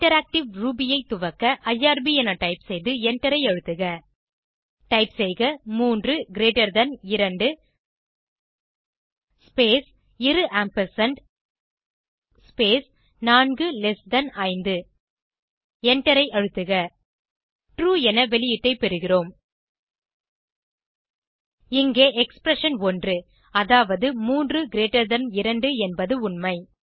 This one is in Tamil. இன்டராக்டிவ் ரூபி ஐ துவக்க ஐஆர்பி என டைப் செய்து எண்டரை அழுத்துக டைப் செய்க 3 கிரீட்டர் தன் 2 ஸ்பேஸ் இரு ஆம்பர்சாண்ட் ஸ்பேஸ் 4 லெஸ் தன் 5 எண்டரை அழுத்துக ட்ரூ என வெளியீட்டை பெறுகிறோம் இங்கே எக்ஸ்பிரஷன்1 அதாவது 32 என்பது உண்மை